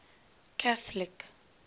catholic